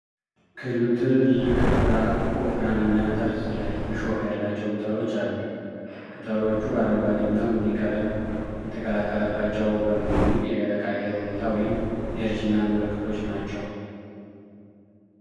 ክሉ ትልልቅ፣ ወፍራም፣ እና ጠርዝ ላይ እሾህ ያላቸው ቅጠሎች አሉት። ቅጠሎቹ አረንጓዴ እና ቡኒ ቀለም የተቀላቀለባቸው በመሆኑ የደረቅ አየር ሁኔታ ወይም የእርጅና ምልክቶች ናቸው።